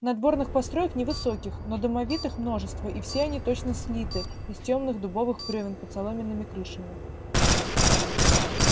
надворных построек невысоких но домовитых множество и все они точно слиты из тёмных дубовых брёвен под соломенными крышами